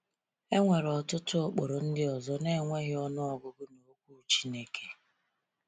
E nwere ọtụtụ ụkpụrụ ndị ọzọ na-enweghị ọnụ ọgụgụ n’Okwu Chineke.